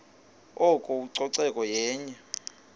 oko ucoceko yenye